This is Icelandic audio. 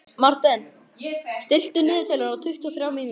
Marten, stilltu niðurteljara á tuttugu og þrjár mínútur.